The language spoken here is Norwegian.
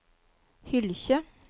Hylkje